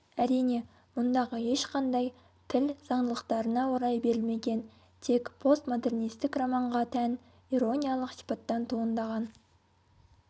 әрине мұндағы ешқандай тіл заңдылықтарына орай берілмеген тек постмодернистік романға тән ирониялық сипаттан туындаған